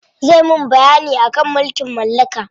Zai mun bayyani akan mulkin mallaka.